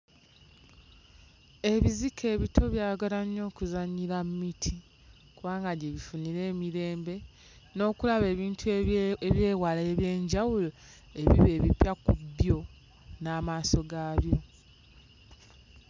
Ebizike ebito byagala nnyo okuzannyira mu miti kubanga gye bifunira emirembe n'okulaba ebintu ebye... eby'ewala eby'enjawulo ebiba ebipya ku byo n'amaaso gaabyo.